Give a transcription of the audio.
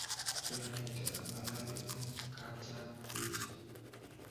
Kianaite ang'alali eng' kaapchang' biich